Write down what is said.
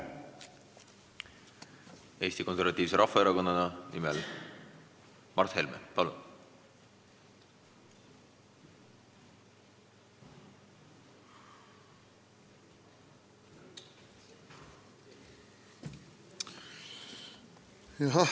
Eesti Konservatiivse Rahvaerakonna nimel Mart Helme, palun!